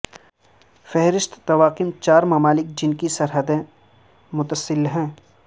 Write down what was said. فہرست طواقم چار ممالک جن کی سرحدیں متصل ہیں